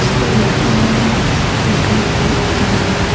इसपर लिखा हुआ है वेलकम टू ईटानगर ।